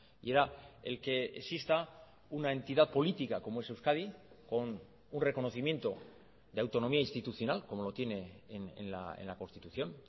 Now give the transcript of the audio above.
y era el que exista una entidad política como es euskadi con un reconocimiento de autonomía institucional como lo tiene en la constitución